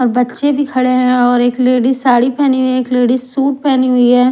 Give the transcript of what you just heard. बच्चे भी खड़े हैं और एक लेडिस साड़ी पहनी हुई है और एक लेडिस सूट पहनी हुई है।